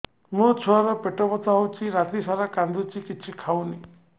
ମୋ ଛୁଆ ର ପେଟ ବଥା ହଉଚି ରାତିସାରା କାନ୍ଦୁଚି କିଛି ଖାଉନି